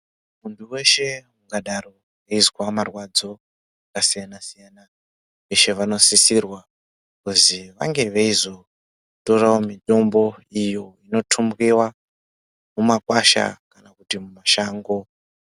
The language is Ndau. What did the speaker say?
Muntu weshe ingadaro eizwa marwadzo akasiyana -siyana veshe vanosisirwa kuzi vange veizotorawo mitombo inotumbiwa mumakwasha kana kuti mumashango.